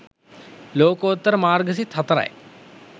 ලෝකෝත්තර මාර්ග සිත් 04 යි.